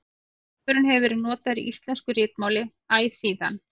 Stafurinn hefur verið notaður í íslensku ritmáli æ síðan.